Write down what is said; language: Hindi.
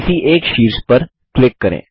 अब किसी एक शीर्ष पर क्लिक करें